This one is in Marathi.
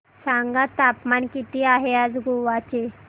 सांगा तापमान किती आहे आज गोवा चे